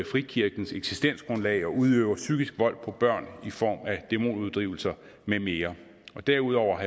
frikirkens eksistensgrundlag og udøver psykisk vold på børn i form af demonuddrivelser med mere derudover